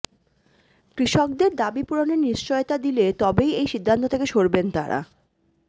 কৃষকদের দাবি পূরণের নিশ্চয়তা দিলে তবেই এই সিদ্ধান্ত থেকে সরবেন তাঁরা